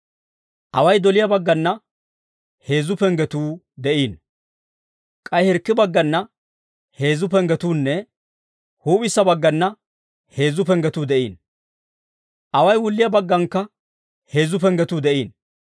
Away doliyaa baggana heezzu penggetuu de'iino. K'ay hirkki baggana heezzu penggetuunne huup'issa baggana heezzu penggetuu de'iino. Away wulliyaa baggaanakka heezzu penggetuu de'iino.